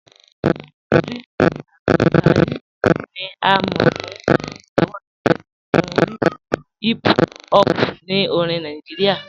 Ìdrìs Abdulkárímì ni à mọ̀ fún ìlòwòṣí rẹ̀ nínu oríṣì hìp hòp ní orìn Nàìjíríà.